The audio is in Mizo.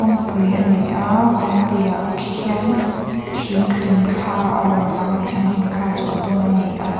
kawngpui ani a kawngpui ah khian thing hlimthla a rawn lang a thing hlimthla chu a dum ani a.